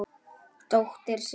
Dóttir séra